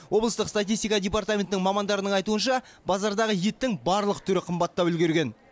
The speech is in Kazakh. облыстық статистика департаментінің мамандарының айтуынша базардағы еттің барлық түрі қымбаттап үлгірген